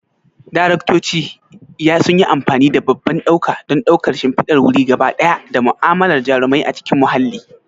Daraktoci yayi amfani da babban ɗauka don ɗaukar shimfidar wuri gaba ɗaya da mu'amalar jarumai a cikin mahalli.